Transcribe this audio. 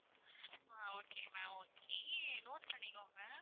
ஆஹ் okay ma'am okay note பண்ணிக்கோங்க